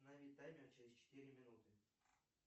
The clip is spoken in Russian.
установи таймер через четыре минуты